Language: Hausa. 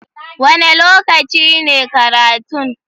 Wane lokaci ne karatun?